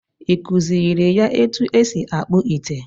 Ị kụziiri ya otú e si akpụ ite?